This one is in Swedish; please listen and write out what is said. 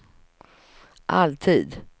alltid